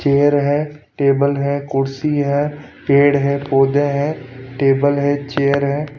Chair हैं table हैं कुर्सी हैं पेड़ हैं पौधे हैं टेबल हैं चेयर हैं।